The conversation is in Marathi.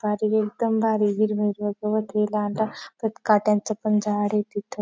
भारी एकदम भारी आहे हिरव हिरव गवतय लांडा परत काट्यांच पण झाडय तिथ --